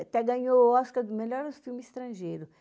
Até ganhou o Oscar do melhor filme estrangeiro.